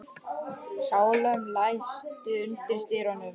Salome, læstu útidyrunum.